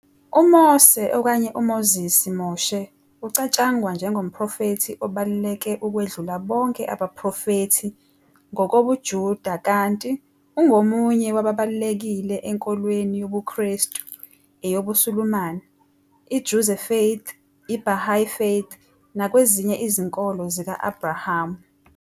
UMose ukanye Moses, Moshe ucatshangwa njengomprofethi obaluleke ukwedlula bonke abaprofethi ngokobuJuda kanti ungomunye wababalulekile enkolweni yobuKrestu, eyobuSulumane, I-Druze Faith, iBahá'í faith nakwezinye izinkolo zika-Abhrahamu.